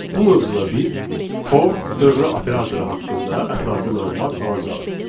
Bu mövzuda biz for dövrü operatoru haqqında ətraflı məlumat alacağıq.